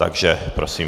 Takže prosím.